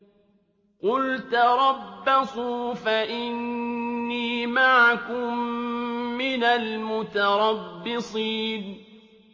قُلْ تَرَبَّصُوا فَإِنِّي مَعَكُم مِّنَ الْمُتَرَبِّصِينَ